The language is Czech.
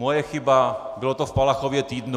Moje chyba, bylo to v Palachově týdnu.